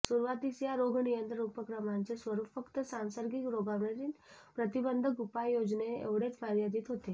सुरुवातीस या रोगनियंत्रण उपक्रमांचे स्वरूप फक्त सांसर्गिक रोगांवरील प्रतिबंधक उपाय योजणे एवढेच मर्यादित होते